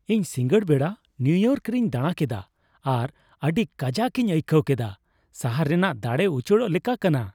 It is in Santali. ᱤᱧ ᱥᱤᱸᱜᱟᱹᱲ ᱵᱮᱲᱟ ᱱᱤᱭᱩ ᱤᱭᱚᱨᱠ ᱨᱮᱧ ᱫᱟᱲᱟᱠᱮᱫᱟ ᱟᱨ ᱟᱹᱰᱤ ᱠᱟᱡᱟᱠ ᱤᱧ ᱟᱹᱭᱠᱟᱹᱣ ᱠᱮᱫᱟ ᱾ ᱥᱟᱦᱟᱨ ᱨᱮᱱᱟᱜ ᱫᱟᱲᱮ ᱩᱪᱟᱹᱲᱚᱜ ᱞᱮᱠᱟ ᱠᱟᱱᱟ ᱾